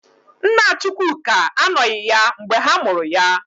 Nna Chukwuka anọghị ya mgbe ha mụrụ ya.